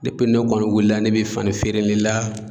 Depi ne kɔni wuli la ne be fani feere le la